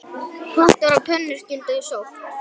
Pottar og pönnur skyldu sótt.